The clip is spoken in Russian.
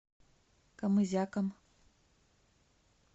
камызяком